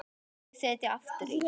Þau sitja aftur í.